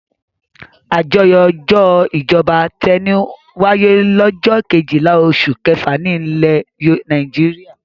Àjọyọ̀ ọjọ́ ìjọba tẹni wáyé lọ́jọ́ kejìlá oṣù kẹfà nílẹ̀ Nàìjíríà.